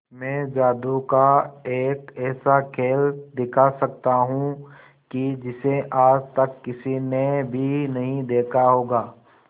मैं जादू का एक ऐसा खेल दिखा सकता हूं कि जिसे आज तक किसी ने भी नहीं देखा होगा